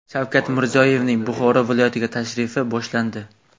Shavkat Mirziyoyevning Buxoro viloyatiga tashrifi boshlandi.